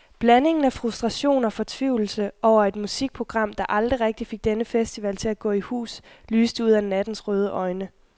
Blandingen af frustration og fortvivlelse over et musikprogram, der aldrig rigtigt fik denne festival til at gå i hus, lyste ud af nattens røde øjne.